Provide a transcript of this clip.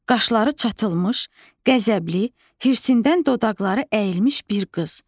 Qaşları çatılmış, qəzəbli, hirsindən dodaqları əyilmiş bir qız.